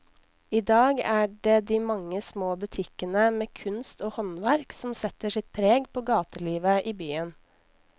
I dag er det de mange små butikkene med kunst og håndverk som setter sitt preg på gatelivet i byen.